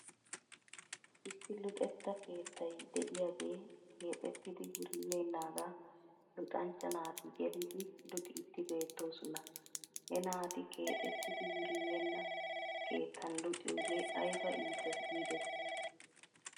Issi luxetta keettay de'iyaagee keexettidi wuribeenaagan luxanchcha naati gelidi luxiddi beettosona. He naati keexettidi wuribeenna keettan luxiyoogee ayba iites giidetii!